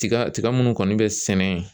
Tiga tiga munnu kɔni bɛ sɛnɛ yen